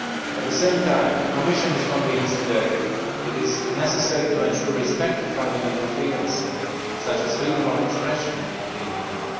At the same time, the Commission is convinced that it is necessary to ensure respect for fundamental freedoms such as freedom of expression on the Internet.